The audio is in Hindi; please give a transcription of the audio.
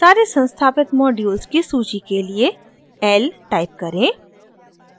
सारे संस्थापित मॉड्यूल्स की सूची के लिए l टाइप करें